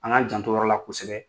An ŋ'an jant'o yɔrɔ la kosɛbɛ.